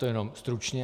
To jen stručně.